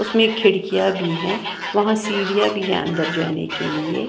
उसमें खिड़कियां भी हैं वहां सीढ़ियां भी हैं अंदर जाने के लिए।